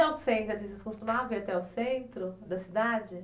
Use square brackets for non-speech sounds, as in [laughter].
Ao centro, [unintelligible] vocês costumavam ir até o centro da cidade?